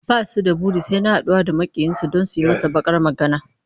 Ba su da buri sai na haɗuwa da maƙiyinsu don su gyaya masa baƙar magana.